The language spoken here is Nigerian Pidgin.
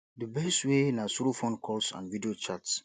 di best way na through phone calls and video chats